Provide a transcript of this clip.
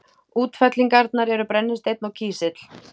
Útfellingarnar eru brennisteinn og kísill.